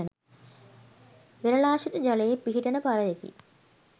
වෙරලාශ්‍රීත ජලයේ පිහිටන පරයකි.